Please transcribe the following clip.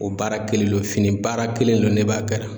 O baara kelen lo fini baara kelen lo ne b'a kɛrɛ